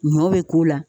Ɲɔ be k'u la